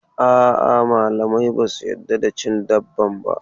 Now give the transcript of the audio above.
A'a, malamai ba su yarda da cin dabban ba.